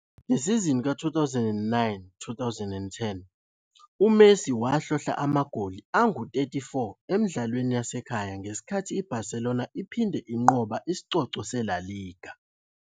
Ngesizini ka-2009-10, uMessi wahlohla amagoli angu-34 emidlalweni yasekhaya ngesikhathi iBarcelona iphinda inqobe isicoco seLa Liga.